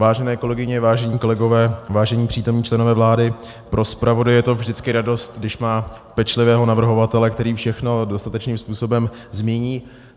Vážené kolegyně, vážení kolegové, vážení přítomní členové vlády, pro zpravodaje je to vždycky radost, když má pečlivého navrhovatele, který všechno dostatečným způsobem zmíní.